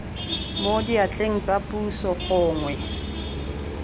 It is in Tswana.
mo diatleng tsa puso gongwe